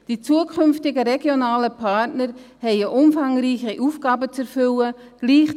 Die zukünftigen regionalen Partner haben umfangreiche Aufgaben zu erfüllen.